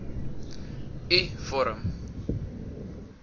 u vorm